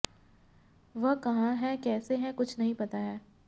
वह कहां हैं कैसे हैं कुछ नहीं पता है